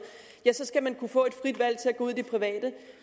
skal man kunne få et frit valg til at gå ud i det private